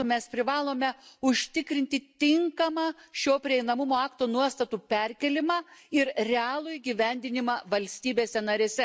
m., mes privalome užtikrinti tinkamą šio prieinamumo akto nuostatų perkėlimą ir realų įgyvendinimą valstybėse narėse.